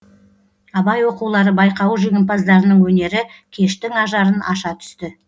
абай оқулары байқауы жеңімпаздарының өнері кештің ажарын аша түсті